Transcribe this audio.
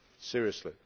seriously.